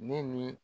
Ne ni